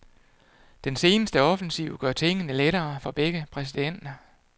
Den seneste offensiv gør tingene lettere for begge præsidenter.